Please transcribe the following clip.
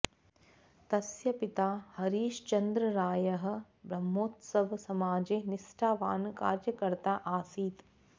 तस्य पिता हरीशचन्द्ररायः ब्रह्मोत्सव समाजे निष्ठावान् कार्यकर्ता आसीत्